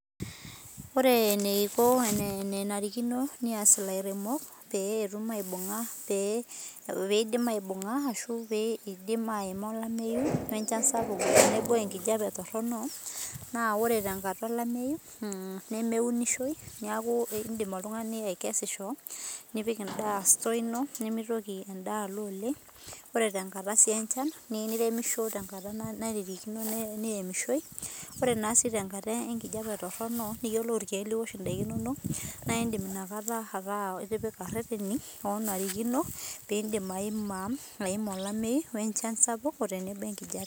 Ore eniko enanarikino pee eyas elairemok pee edim aibung'a olamei wee enchan sapuk tenebo enkijiape Torono naa ore tenkata olamei nemeunishoi neeku edim oltung'ani aikesisho nipik endaa store eno nimitoki endaa oleng ore sii tenkata enchan niyieu niremishi tenkata nairirikino niremishoi ore sii tenkata enkijiape Torono niyiolou irkeek liosh ntokitin inono naa edim enakata ataa etipika ereteni oo narikino pee edim ayima olamei wee enchan sapuk tenebo enkijiape